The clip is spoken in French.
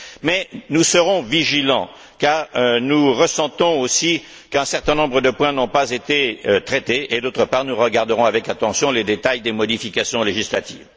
Mais nous serons vigilants, car nous ressentons aussi qu'un certain nombre de points n'ont pas été traités et, d'autre part, nous regarderons avec attention les détails des modifications législatives.